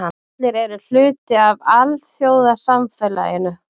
Allir eru hluti af alþjóðasamfélaginu.